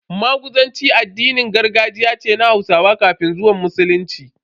Maguzanci addinin gargajiya ce na Hausawa kafin zuwan Musulunci.